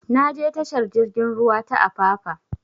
Na je tashar jigin ruwa ta apapa